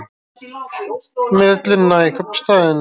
Með ullina í kaupstaðinn